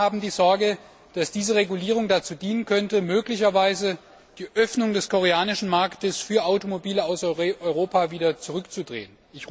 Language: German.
Wir alle haben die Sorge, dass diese Regulierung dazu dienen könnte, die Öffnung des koreanischen Marktes für Automobile aus Europa wieder zurückzunehmen.